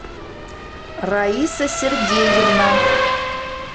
раиса сергеевна